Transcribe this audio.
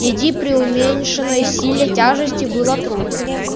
иди при уменьшенной силе тяжести было трудно